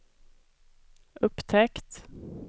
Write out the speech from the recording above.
upptäckt